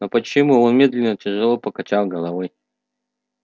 но почему он медленно тяжело покачал головой